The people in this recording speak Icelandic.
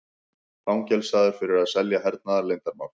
Fangelsaður fyrir að selja hernaðarleyndarmál